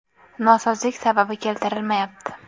Nosozlik sababi keltirilmayapti.